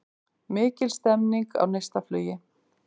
Mikil stemming á Neistaflugi